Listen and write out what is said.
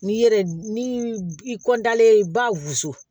N'i yɛrɛ ni i kɔnda ye i ba wusu